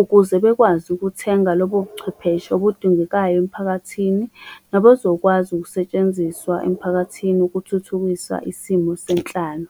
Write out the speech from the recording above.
ukuze bekwazi ukuthenga lobo buchwepheshe obudingekayo emphakathini. Nabazokwazi ukusetshenziswa emphakathini ukuthuthukisa isimo senhlalo.